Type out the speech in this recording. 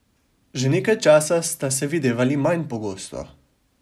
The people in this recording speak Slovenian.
Že nekaj časa sta se videvali manj pogosto.